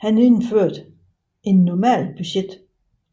Han indførte et normalbudget